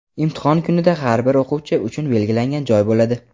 Imtihon kunida har bir o‘quvchi uchun belgilangan joy bo‘ladi.